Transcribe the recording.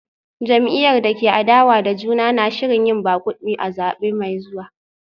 Jam’iyyar da ke adawa da juna na shirin yin magudi a zabe mai zuwa